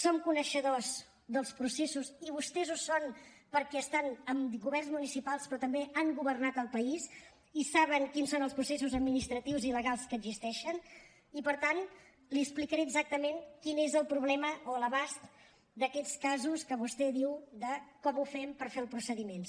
som coneixedors dels processos i vostès ho són perquè estan en governs municipals però també han governat el país i saben quins són els processos administratius i legals que existeixen i per tant li explicaré exactament quin és el problema o l’abast d’aquests casos que vostè diu de com ho fem per fer els procediments